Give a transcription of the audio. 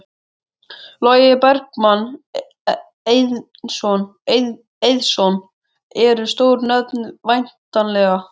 Logi Bergmann Eiðsson: Eru stór nöfn væntanleg?